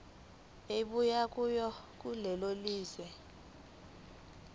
ebuya kulelo lizwe